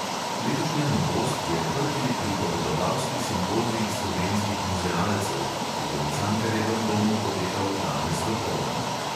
Letošnja novost je prvi pripovedovalski simpozij slovenskih muzealcev, ki bo v cankarjevem domu potekal danes dopoldan.